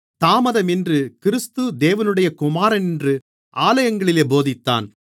தாமதமின்றி கிறிஸ்து தேவனுடைய குமாரனென்று ஆலயங்களிலே போதித்தான்